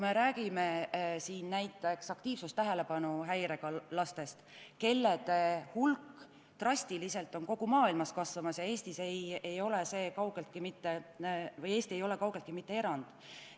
Me räägime siin näiteks aktiivsus- ja tähelepanuhäirega lastest, kelle hulk on kogu maailmas drastiliselt kasvamas ja Eesti ei ole kaugeltki mitte erand.